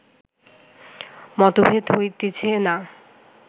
মতভেদ হইতেছে না